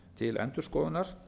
til endurskoðunar